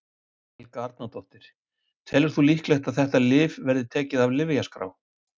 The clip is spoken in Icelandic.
Helga Arnardóttir: Telur þú líklegt að þetta lyf verði tekið af lyfjaskrá?